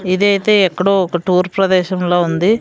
ఇదైతే ఎక్కడో ఒక టూర్ ప్రదేశంలా ఉంది.